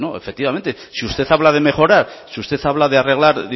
efectivamente si usted habla de mejorar si usted habla de arreglar